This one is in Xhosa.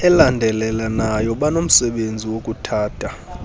elandelelanayo banomsebenzi wokuthatha